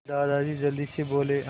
दादाजी जल्दी से बोले